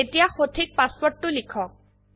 এতিয়া সঠিক পাসওয়ার্ডটো লিখক